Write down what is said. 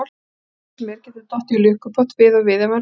Hvaða kjáni sem er getur dottið í lukkupott við og við ef hann reynir.